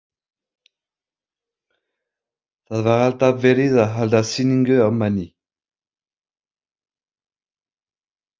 Það var alltaf verið að halda sýningu á manni.